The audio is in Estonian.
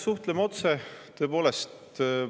Suhtleme otse, tõepoolest.